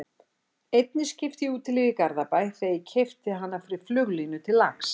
Einni skipti ég í Útilífi í Glæsibæ þegar ég keypti fyrir hana flugulínu til lax